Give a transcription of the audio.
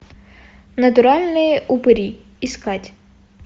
натуральные упыри искать